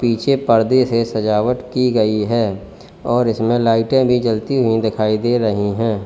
पीछे परदे से सजावट की गई है और इसमें लाइटें भी जलती हुई दिखाई दे रही हैं।